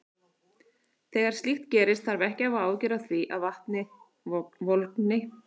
Þegar slíkt gerist þarf ekki að hafa áhyggjur af því að vatnið volgni.